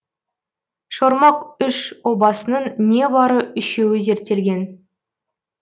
шормақ үш обасының не бары үшеуі зерттелген